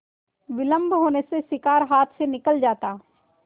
विलम्ब होने से शिकार हाथ से निकल जाता